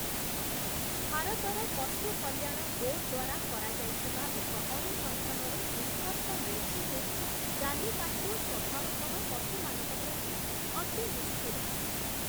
ଭାରତର ପଶୁ କଲ୍ୟାଣ ବୋର୍ଡ଼ ଦ୍ଵାରା କରାଯାଇଥିବା ଏକ ଅନୁସନ୍ଧାନରୁ ନିଷ୍କର୍ଷ ମିଳିଛି ଯେ. ଜାଲିକାଟ୍ଟୁ ସ୍ଵଭାବତଃ ପଶୁମାନଙ୍କ ପ୍ରତି ଅତି ନିଷ୍ଠୁର ।